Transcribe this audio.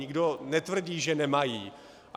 Nikdo netvrdí, že nemají.